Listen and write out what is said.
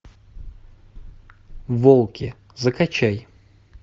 волки закачай